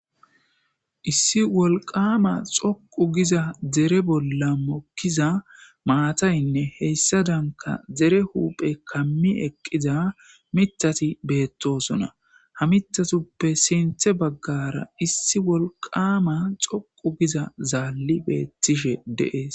Issi wolqama xoqu giza dere bolla mokkiza maataynne heyssa danka dere huuphe kammi eqqiza mitati beettosona ha mitatuppe sinthe baggara issi wolqama xoqu giza zaalli beettishe deees.